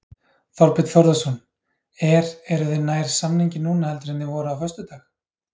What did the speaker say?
Þorbjörn Þórðarson: Er, eruð þið nær samningi núna heldur en þið voruð á föstudag?